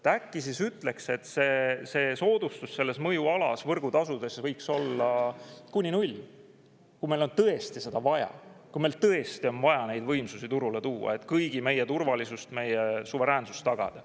Äkki siis ütleks, et see soodustus selles mõjualas võrgutasudesse võiks olla kuni null, kui meil on tõesti seda vaja, kui meil tõesti on vaja neid võimsusi turule tuua, et kõigi meie turvalisus, meie suveräänsus tagada.